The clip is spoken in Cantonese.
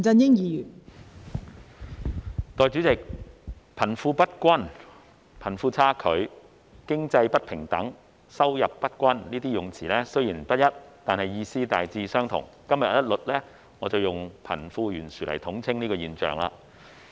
代理主席，貧富不均、貧富差距、經濟不平等、收入不均，這些用詞雖然不一，但意思大致相同，我今日一律以貧富懸殊來統稱這現象。